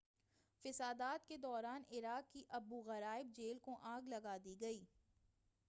فسادات کے دوران عراق کی ابو غرائب جیل کو آگ لگا دی گئی